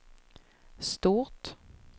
stort